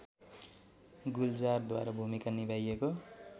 गुलजारद्वारा भूमिका निभाइएको